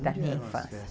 da minha infância.